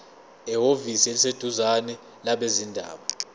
ehhovisi eliseduzane labezindaba